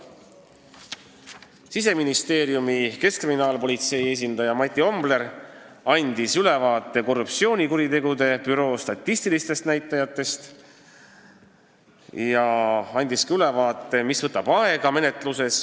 Siseministeeriumi, keskkriminaalpolitsei esindaja Mati Ombler andis ülevaate korruptsioonikuritegude statistilistest näitajatest ja sellest, mis menetluses aega võtab.